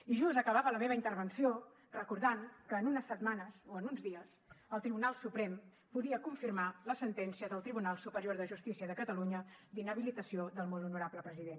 i just acabava la meva intervenció recordant que en unes setmanes o en uns dies el tribunal suprem podia confirmar la sentència del tribunal superior de justícia de catalunya d’inhabilitació del molt honorable president